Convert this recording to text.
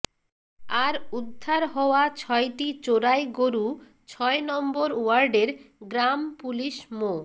আর উদ্ধার হওয়া ছয়টি চোরাই গরু ছয় নম্বর ওয়ার্ডের গ্রাম পুলিশ মো